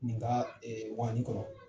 Nga waani kɔrɔ